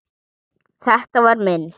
Þetta var minn.